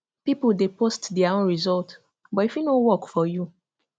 people dey post their own result but e fit no work for you